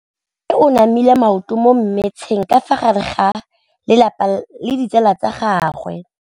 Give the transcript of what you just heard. Mme o namile maoto mo mmetseng ka fa gare ga lelapa le ditsala tsa gagwe.